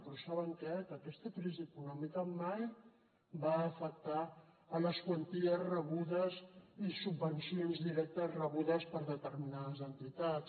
però saben què que aquesta crisi econòmica mai va afectar les quanties rebudes i subvencions directes rebudes per determinades entitats